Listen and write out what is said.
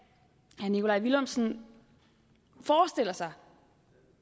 herre nikolaj villumsen forestiller sig